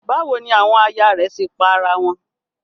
Báwo ni àwọn aya rẹ̀ ṣe pa ara wọn?